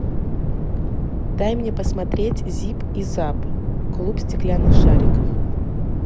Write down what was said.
дай мне посмотреть зип и зап клуб стеклянных шариков